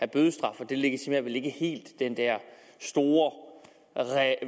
bødestraf og det legitimerer vel ikke helt den der store